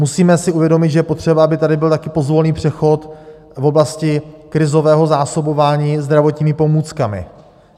Musíme si uvědomit, že je potřeba, aby tady byl taky pozvolný přechod v oblasti krizového zásobování zdravotními pomůckami.